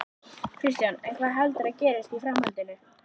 Kristján: En hvað heldurðu að gerist í framhaldinu?